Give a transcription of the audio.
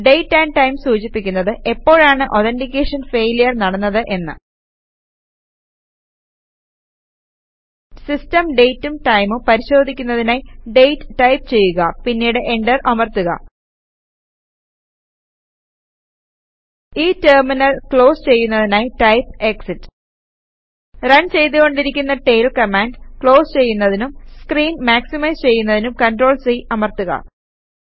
date amp time സൂചിപ്പിക്കുന്നത് എപ്പോഴാണ് authentication failure നടന്നത് എന്ന് സിസ്റ്റം ഡേറ്റും ടൈമും പരിശോധിക്കുന്നതിനായി ഡേറ്റ് ടൈപ്പ് ചെയ്യുക പിന്നീട് എന്റർ അമർത്തുക ഈ ടെർമിനൽ ക്ലോസ് ചെയ്യുന്നതിനായി ടൈപ് എക്സിറ്റ് റൺ ചെയ്തു കൊണ്ടിരിക്കുന്ന ടെയിൽ കമാൻഡ് ക്ലോസ് ചെയ്യുന്നതിനും സ്ക്രീൻ മാക്സിമൈസ് ചെയ്യുന്നതിനും CTRL C അമർത്തുക